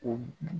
O